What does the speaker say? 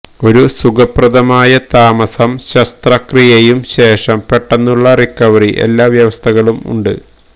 ഒരു സുഖപ്രദമായ താമസം ശസ്ത്രക്രിയയും ശേഷം പെട്ടെന്നുള്ള റിക്കവറി എല്ലാ വ്യവസ്ഥകളും ഉണ്ട്